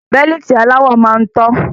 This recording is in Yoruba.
Bẹ́líìtì aláwọ máa ń tọ́